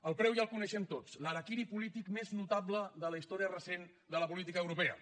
el preu ja el coneixem tots l’harakiri polític més notable de la història recent de la política europea